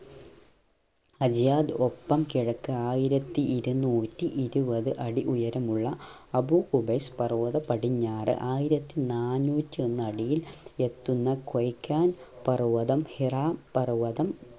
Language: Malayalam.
അലിയാദ് ഒപ്പം കിഴക് ആയിരത്തി ഇരുന്നൂറ്റി ഇരുവത് അടി ഉയരമുള്ള അബു ഖുബൈസ് പർവതം പടിഞ്ഞാർ ആയിരത്തി നാന്നൂറ്റി ഒന്ന് അടിയിൽ എത്തുന്ന പർവതം ഹിറാ പർവതം